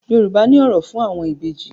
Yorùbá ní òrò fún àwọn Ìbejì.